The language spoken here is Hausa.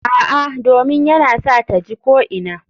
A'a, domin yana sa ta ji ko'ina.